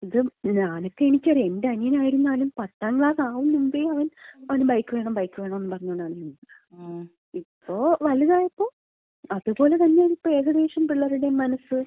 ഞാനൊക്കെ, എനിക്കറിയാം എന്‍റെ അനിയനായിരുന്നാലും പത്താം ക്ലാസ് ആവുന്നതിന് മുമ്പേ, അവൻ അവന് ബൈക്ക് വേണം ബൈക്ക് വേണംന്ന് പറഞ്ഞോണ്ട് നടന്നതാ. ഇപ്പോ വലുതായപ്പോ അതുപോലെതന്നാണ് ഇപ്പം ഏകദേശം പിള്ളേരുടേം മനസ്സ്.